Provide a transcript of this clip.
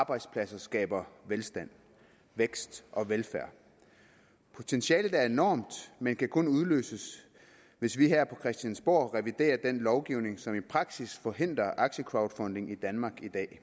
arbejdspladser skaber velstand vækst og velfærd potentialet er enormt men kan kun udløses hvis vi her på christiansborg reviderer den lovgivning som i praksis forhindrer aktiecrowdfunding i danmark